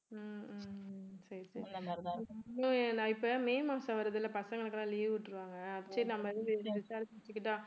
ஹம் ஹம் சரி சரி நான் இப்ப மே மாசம் வருது இல்லை பசங்களுக்கு எல்லாம் leave விட்டுருவாங்க சரி நம்ம வந்து விசாரிச்சுக்கிட்டா